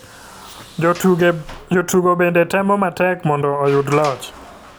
Jotugo bende temo matek mondo oyud loch.